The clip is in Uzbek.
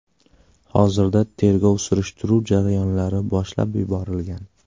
Hozirda tergov-surishtiruv jarayonlari boshlab yuborilgan.